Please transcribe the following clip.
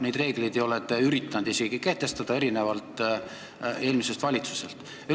Neid reegleid ei ole te üritanud isegi mitte kehtestada, erinevalt eelmisest valitsusest.